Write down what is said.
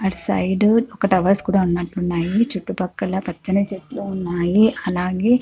అటు సైడు ఒక టవర్స్ కూడా ఉన్నట్టున్నాయి. చుట్టూ పక్కల పచ్చని చెట్లు ఉన్నాయి. అలాగే--